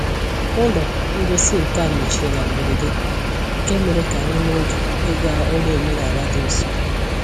Ụlọ ngosi nka mechiri na mberede, nke mere ka anyị nwee oge ịga ụlọ omenala dị nso.